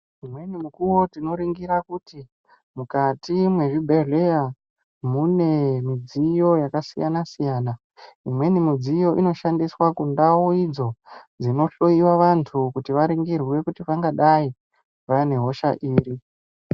Umweni mukuwo tinoringira kuti mukati mezvibhedhleya mune midziyo yakasiyana siyana imweni midziyo inoshandiswa kundau idzo dzinohloyiwa vanthu kuti varingirwe kuti vangadai vane hosha iri.